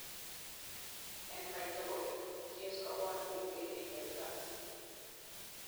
en katugul:genes ko rwandet netechei inheritance